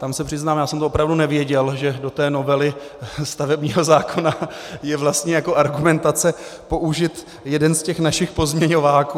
Tam se přiznám, já jsem to opravdu nevěděl, že do té novely stavebního zákona je vlastně jako argumentace použit jeden z těch našich pozměňováků.